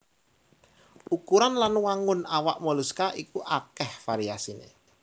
Ukuran lan wangun awak moluska iku akèh variasiné